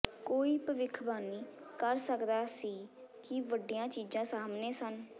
ਕੋਈ ਭਵਿੱਖਬਾਣੀ ਕਰ ਸਕਦਾ ਸੀ ਕਿ ਵੱਡੀਆਂ ਚੀਜ਼ਾਂ ਸਾਹਮਣੇ ਸਨ